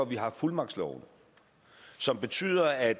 vi har fuldmagtsloven som betyder at